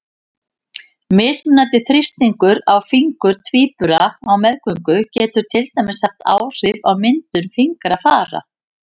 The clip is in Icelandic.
Mismunandi þrýstingur á fingur tvíbura á meðgöngu getur til dæmis haft áhrif á myndun fingrafara.